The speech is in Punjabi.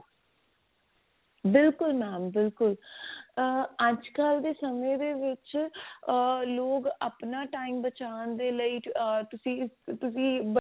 ਬਿਲਕੁਲ mam ਬਿਲਕੁਲ ah ਅੱਜਕਲ ਦੇ ਸਮੇ ਦੇ ਵਿੱਚ ah ਲੋਕ ਆਪਣਾ time ਬਚਾਉਣ ਦੇ ਲਈ ah ਤੁਸੀਂ ਤੁਸੀਂ